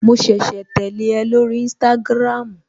Mo ṣẹ̀ṣẹ̀ tẹ́lẹ̀ ẹ lórí instagram